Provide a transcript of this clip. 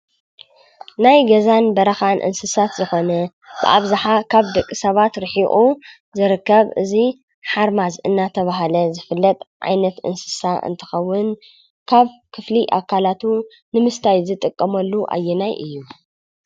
ናይ ገዛን በረኻን እንስሳ ዝኾነ ኣብዝሓ ከብ ደቂ ሰባት ርሒቁ ዝርከብ እዚ ሓርማዝ እናተብሃለ ዝፍለጥ ዓይነት እንስሳ እንትኸውን ካብ ክፍሊ ኣካላቱ ንምስታይ ዝጥቀመሉ ኣየናይ እዩ ?